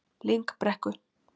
Lyngbrekku